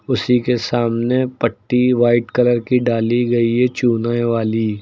उसी के सामने पट्टी व्हाइट कलर की डाली गई है चूने वाली।